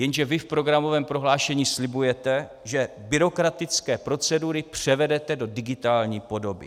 Jenže vy v programovém prohlášení slibujete, že byrokratické procedury převedete do digitální podoby.